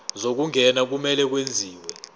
zokungena kumele kwenziwe